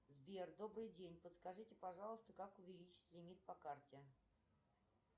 сбер добрый день подскажите пожалуйста как увеличить лимит по карте